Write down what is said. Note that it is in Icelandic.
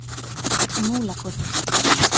Múlakoti